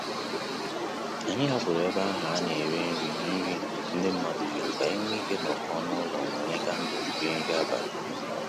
Anyị hapụrụ ebe ahụ ana ere nri nri ndị mmadụ jụrụ ka anyị nwe ike inọkọ n'ụlọ mụnye kandle rie nri abalị